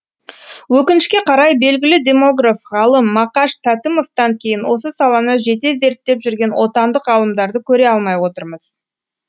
өкінішке қарай белгілі демограф ғалым мақаш тәтімовтан кейін осы саланы жете зерттеп жүрген отандық ғалымдарды көре алмай отырмыз